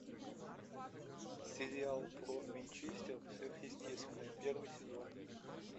сериал про винчестеров сверхъестественное первый сезон